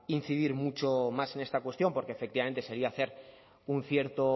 incidir mucho más en esta cuestión porque efectivamente sería hacer un cierto